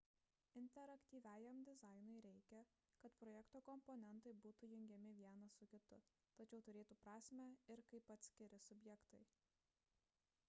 interaktyviajam dizainui reikia kad projekto komponentai būtų jungiami vienas su kitu tačiau turėtų prasmę ir kaip atskiri subjektai